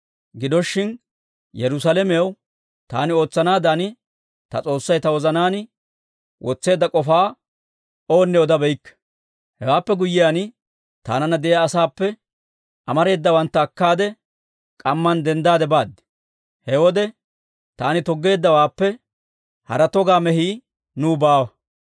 Gido shin, Yerusaalamew taani ootsanaadan ta S'oossay ta wozanaan wotseedda k'ofaa oonne odabeykke. Hewaappe guyyiyaan, taananna de'iyaa asaappe amareedawantta akkaade, k'amman denddaade baad. He wode taani toggeeddawaappe hara togaa mehii nuw baawa.